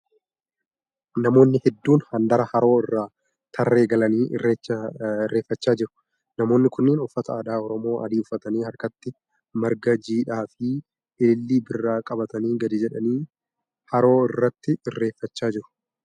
Namoonni hedduun handaara haroo irra tarree galanii irreeffachaa jiru. Namoonni kunneen uffata aadaa Oromoo adii uffatanii harkatti marga jiidhaa fi ilillii birraa qabatanii gadi jedhanii haroo irratti irreeffachaa jiru .